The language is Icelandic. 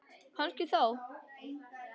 Kannski þá.